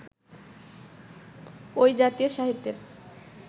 ওই জাতীয় সাহিত্যের